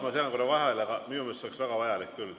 Ma segan korra vahele: minu meelest see oleks väga vajalik küll.